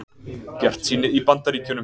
Bjartsýni í Bandaríkjunum